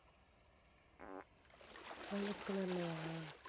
violet color லயா